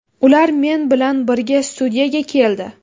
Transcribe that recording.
Ular men bilan birga studiyaga keldi.